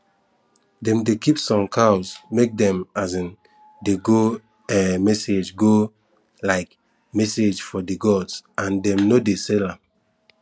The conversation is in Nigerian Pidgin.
dem dey keep some cows make dem um dey go um message go um message for the gods and dem no dey sell am